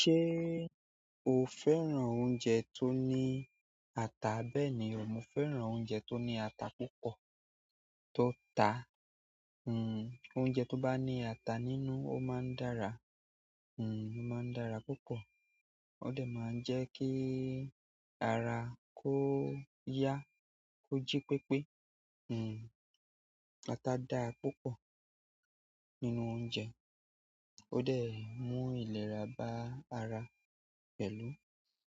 Ṣé o fẹ́ràn oúnjẹ tó ní ata? Bẹ́ẹ̀ni, mo fẹ́ràn oúnjẹ tó ní ata púpọ̀ tó ta. Oúnjẹ to ba ni ata nínú o maa n dára ó máa ń dára púpọ̀, ó de máa ń jẹ́ kí ara kó yá, kóji pépé. Ata dára púpọ̀ nínú oúnjẹ ó de mú ìlera bá ara pẹ̀lú.